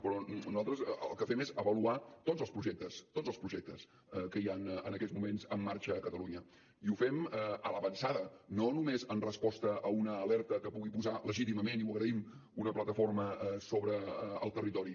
però nosaltres el que fem és avaluar tots els projectes tots els projectes que hi ha en aquests moments en marxa a catalunya i ho fem a l’avançada no només en resposta a una alerta que hi pugui posar legítimament i ho agraïm una plataforma sobre el territori